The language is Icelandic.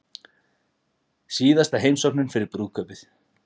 Síðasta heimsóknin fyrir brúðkaupið